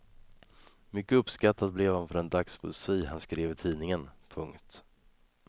Mycket uppskattad blev han för den dagspoesi han skrev i tidningen. punkt